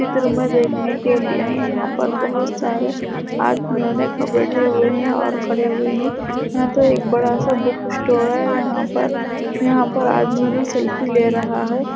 चित्र में देखने के लिए यहां पर बहुत सारे आदमियो ने क बैठे हुये है और खड़े हुये है यहां तो एक बड़ा सा बुक स्टोर है यहां पर यहां पर आदमियो ने सेल्फी ले रहा है।